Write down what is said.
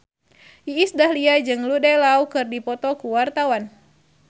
Iis Dahlia jeung Jude Law keur dipoto ku wartawan